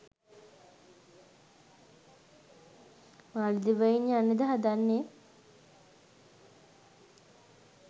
මාලදිවයින් යන්නද හදන්නේ?